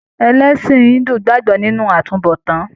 Ẹlẹsin Hindu gbagbọ nínú àtúnbọ̀tán.